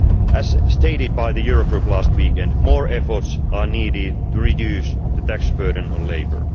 As stated by the Euro Group last weekend, more efforts are needed to reduce the tax burden on labour.